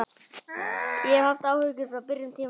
Ég hef haft áhyggjur frá byrjun tímabilsins.